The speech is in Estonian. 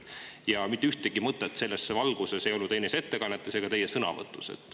Kuid mitte ühtegi mõtet selles valguses pole kõlanud ei teie ettekandes ega sõnavõttudes.